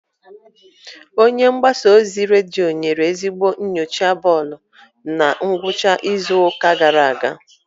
Onye mgbasa ozi redio nyere ezigbo nyocha bọọlụ na ngwụcha izu ụka gara aga.